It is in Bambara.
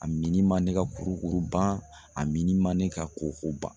A min man ne ka kurukuru ban a min man ne ka koko ban